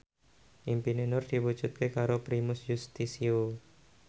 impine Nur diwujudke karo Primus Yustisio